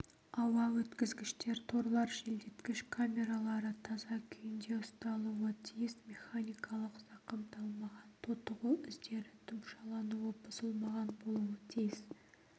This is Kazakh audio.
ауа өткізгіштер торлар желдеткіш камералары таза күйінде ұсталуы тиіс механикалық зақымдалмаған тотығу іздері тұмшалануы бұзылмаған болуы тиіс